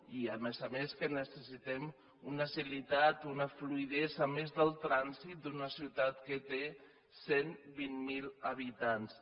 i a més a més que necessitem una agilitat una fluïdesa a més del trànsit d’una ciutat que té cent i vint miler habitants